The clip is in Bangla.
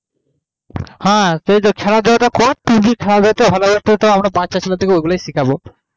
হ্যাঁ যে খেলাধুলো টা করতি যে খেলাধুলো টা হবে বাচ্ছা ছেলে কে ওই গুলো শিখাবো